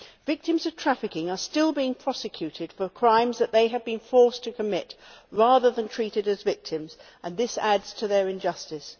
Victims of trafficking are still being prosecuted for crimes that they have been forced to commit rather than being treated as victims, and this adds to their injustice.